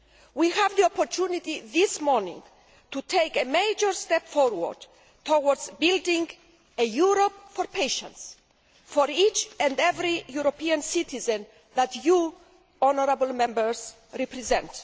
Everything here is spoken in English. We have the opportunity this morning to take a major step forward towards building a Europe for patients, for each and every European citizen that you, honourable Members, represent.